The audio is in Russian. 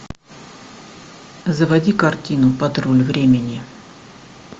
заводи картину патруль времени